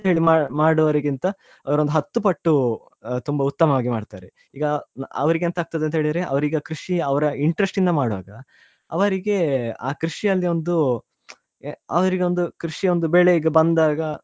ಹೇಳಿ ಮಾಡುವವರಿಗಿಂತ ಅವರೊಂದು ಹತ್ತು ಪಟ್ಟು ತುಂಬಾ ಉತ್ತಮವಾಗಿ ಮಾಡ್ತಾರೆ ಈಗ ಅವ್ರಿಗೆ ಎಂತ ಆಗ್ತದೆ ಅಂತ ಹೇಳಿದ್ರೆ ಅವರಿಗಾ ಕೃಷಿ ಅವರ interest ಇಂದ ಮಾಡುವಾಗ ಅವರಿಗೆ ಆ ಕೃಷಿಯಲ್ಲಿ ಒಂದು ಎ~ ಅವರಿಗೆ ಒಂದು ಕೃಷಿಯ ಬೆಳೆ ಈಗಾ ಬಂದಾಗ.